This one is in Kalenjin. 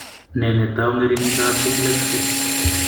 Ne netou ng'ering'indoab Complex II?